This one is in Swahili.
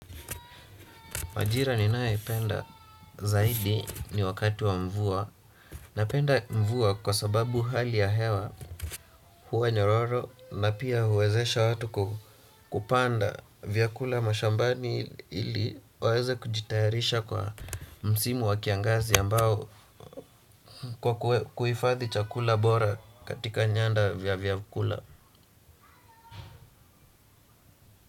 Majira ninayoipenda zaidi ni wakati wa mvua napenda mvua kwa sababu hali ya hewa huwa nyororo na pia huwezesha watu kupanda vyakula mashambani ili waweze kujitayarisha kwa msimu wakiangazi ambao kwa kuhifathi chakula bora katika nyanda vya vyakula.